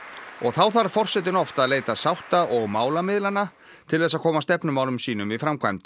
og þá þarf forsetinn oft að leita sátta og málamiðlana til þess að koma stefnumálum sínum í framkvæmd